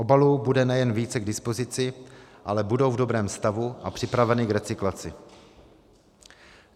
Obalů bude nejen více k dispozici, ale budou v dobrém stavu a připraveny k recyklaci.